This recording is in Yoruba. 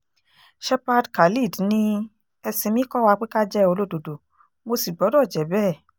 shepherd khalid ni ẹ̀sìn mi kọ́ wa pé ká jẹ́ olódodo mo sì gbọ́dọ̀ jẹ́ bẹ́ẹ̀